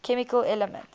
chemical elements